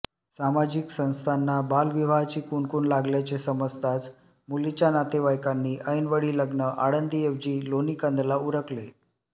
सामाजिक संस्थांना बालविवाहाची कुणकूण लागल्याचे समजताच मुलीच्या नातेवाइकांनी ऐनवेळी लग्न आळंदी ऐवजी लोणीकंदला उरकले